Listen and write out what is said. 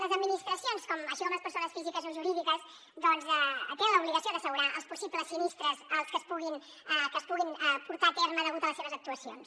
les administracions així com les persones físiques o jurídiques doncs tenen l’obligació d’assegurar els possibles sinistres que es puguin portar a terme degut a les seves actuacions